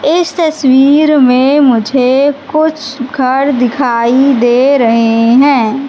इस तस्वीर में मुझे कुछ घर दिखाई दे रहे हैं।